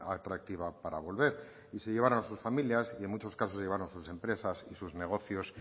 atractiva para volver y se llevaron a sus familias y en muchos casos se llevaron sus empresas y sus negocios